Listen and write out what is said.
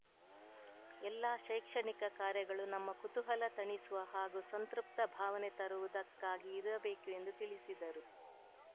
ಎಲ್ಲಾ ಶೈಕ್ಷಣಿಕ ಕಾರ್ಯಗಳು ನಮ್ಮ ಕುತೂಹಲ ತಣಿಸುವ ಹಾಗೂ ಸಂತೃಪ್ತ ಭಾವನೆ ತರುವುದಕ್ಕಾಗಿ ಇರಬೇಕು ಎಂದು ತಿಳಿಸಿದರು